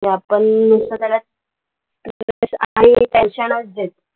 आपण मग त्याला नुसतं tension च देते